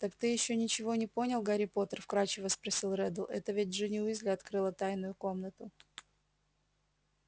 так ты ещё ничего не понял гарри поттер вкрадчиво спросил реддл это ведь джинни уизли открыла тайную комнату